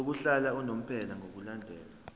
lokuhlala unomphela ngokulandela